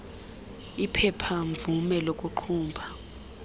iphepha mvume lokuqhuba